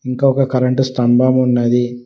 ఇంకా ఒక కరెంటు స్తంభం ఉన్నది.